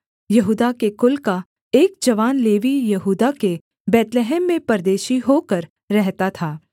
यहूदा के कुल का एक जवान लेवीय यहूदा के बैतलहम में परदेशी होकर रहता था